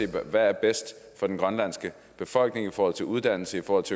hvad der er bedst for den grønlandske befolkning i forhold til uddannelse og